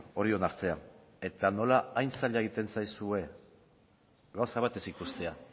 hori onartzea eta nola hain zaila egiten zaizue gauza bat ez ikustea